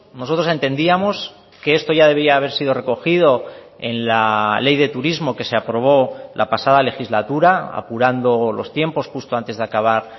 nosotros entendíamos que esto ya debía haber sido recogido en la ley de turismo que se aprobó la pasada legislatura apurando los tiempos justo antes de acabar